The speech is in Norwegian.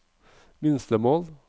minstemål